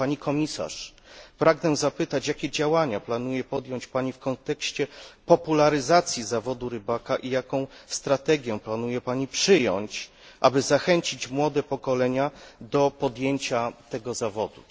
Pani Komisarz, pragnę zapytać, jakie działania planuje podjąć Pani w kontekście popularyzacji zawodu rybaka i jaką strategię planuje Pani przyjąć, aby zachęcić młode pokolenia do podjęcia tego zawodu.